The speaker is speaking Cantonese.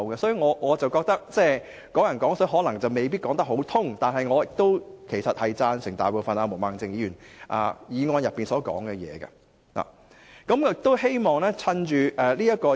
所以，我覺得"港人港水"可能未必能說得通，但我其實贊成毛孟靜議員所提議案的大部分內容。